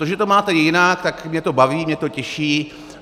To, že to máte jinak, tak mě to baví, mě to těší.